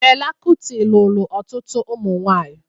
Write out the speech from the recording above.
Fela Kuti lụrụ ọtụtụ ụmụnwaanyị